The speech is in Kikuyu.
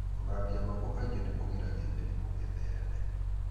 Gũthambia moko kaingĩ nĩ kũgiragia mĩrimũ ĩthereme.